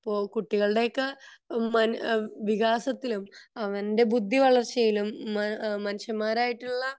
ഇപ്പൊ കുട്ടികളുടെ ഒക്കെ വികാസത്തിലും അവന്റെ ബുദ്ധി വളര്ച്ചയിലും മനുഷ്യന്മാരായിട്ടുള്ള